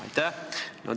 Aitäh!